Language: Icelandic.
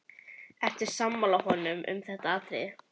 Ertu sammála honum um þetta atriði?